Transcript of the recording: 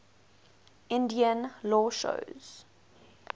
indian law shows